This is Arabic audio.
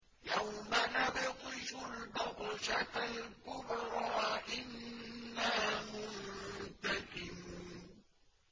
يَوْمَ نَبْطِشُ الْبَطْشَةَ الْكُبْرَىٰ إِنَّا مُنتَقِمُونَ